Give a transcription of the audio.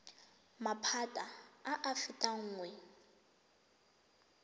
maphata a a fetang nngwe